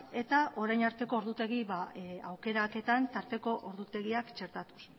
eta orain arteko ordutegi aukeraketan tarteko ordutegiak txertatuz